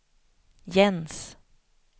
Jens